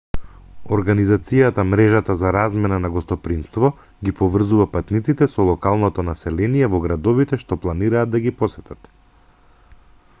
организацијата мрежата за размена на гостопримство ги поврзува патниците со локалното население во градовите што планираат да ги посетат